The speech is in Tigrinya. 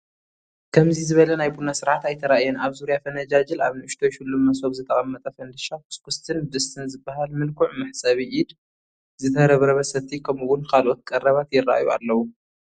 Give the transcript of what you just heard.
ከምዚ ዝበለ ናይ ቡና ስርዓት ኣይተራእየን፡፡ ኣብ ዙርያ ፈነጃጅል ኣብ ንኡሽተይ ሽሉም መሶብ ዝተቐመጠ ፈንድሻ፣ ኩስኩስትን ድስትን ዝበሃል ምልኩዕ መሕፀቢ ኢድ፣ ዝተረብረበ ሰቲ ከምኡውን ካልኦት ቀረባት ይርአዩ ኣለዉ፡፡